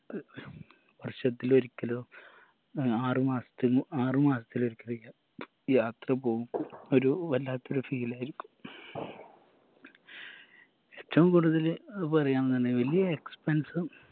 വർഷത്തിൽ ഒരിക്കലോ ഏർ ആറ് മാസത്തില് ആറ് മാസത്തിൽ ഒരിക്കലെങ്കിലും യാത്ര പോവുമ്പോ ഒരു വല്ലാത്തൊരു feel ആയിരിക്കും ഏറ്റവും കൂടുതല് ഏർ പറയാന്നിണ്ടെങ്കില് വലിയ expense ഉം